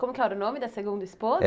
Como que era o nome da segunda esposa?